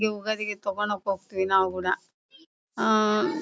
ಈ ಯುಗಾದಿಗೆ ತಗೋಣಾಕ್ ಹೋಗತೀವಿ ನಾವು ಕೂಡ ಆಹ್ಹ್--